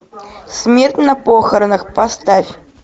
смерть на похоронах поставь